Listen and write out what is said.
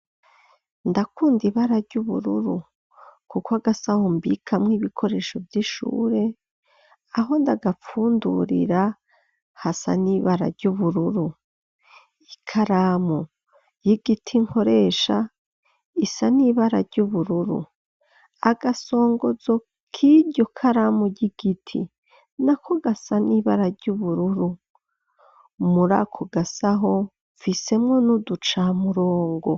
Ndakunda ibara ry'ubururu kuko agasaho mbikamwo ibikoresho vy'ishure aho ndaga pfundurira hasa n'ibara ry'ubururu ikaramu y'igiti nkoresha isa n'ibara ry'ubururu agasongozo k'iryo karamu ry'igiti na ko gasa n'ibara ry'ubururu murako gasaho mfisemwo n'uduca murongo.